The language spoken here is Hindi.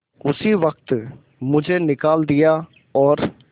उसी वक्त मुझे निकाल दिया और